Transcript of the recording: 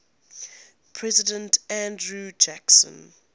president andrew jackson